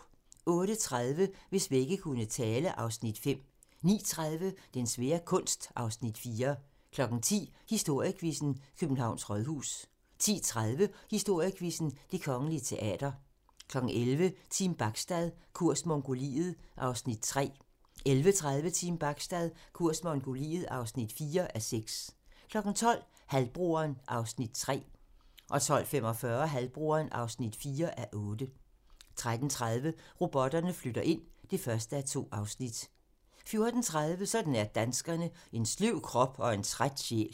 08:30: Hvis vægge kunne tale (Afs. 5) 09:30: Den svære kunst (Afs. 4) 10:00: Historiequizzen: Københavns Rådhus 10:30: Historiequizzen: Det Kongelige Teater 11:00: Team Bachstad - kurs Mongoliet (3:6) 11:30: Team Bachstad - kurs Mongoliet (4:6) 12:00: Halvbroderen (3:8) 12:45: Halvbroderen (4:8) 13:30: Robotterne flytter ind (1:2) 14:30: Sådan er danskerne: En sløv krop og en træt sjæl